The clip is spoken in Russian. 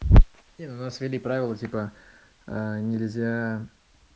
не ну у нас ввели правила типа нельзя